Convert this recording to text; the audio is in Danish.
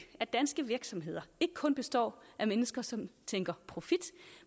at danske virksomheder ikke kun består af mennesker som tænker i profit